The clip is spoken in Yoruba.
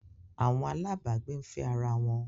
Awọn alabgbe n fe ara won